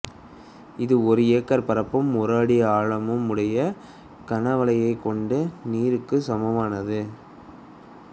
இது ஒரு ஏக்கர் பரப்பும் ஒரு அடி ஆழமும் உடைய கனவளவைக் கொண்ட நீருக்குச் சமனானது